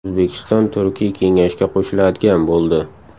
O‘zbekiston Turkiy kengashga qo‘shiladigan bo‘ldi.